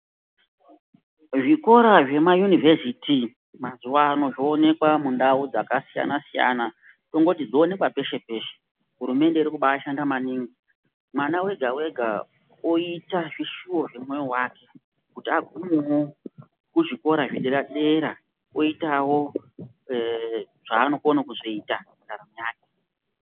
Zvikora zvemayunivesiti mazuwano zvoonekwa mundau dzakasiyana siyana tongoti dzoonekwa peshe peshe hurumende irikubashanda maningi , mwana wega wega oita zvishuwa zvemoyo wake kuti agumewo kuzvikora zvedera dera oitawo zvavanokona kuzoita mundaramo yake.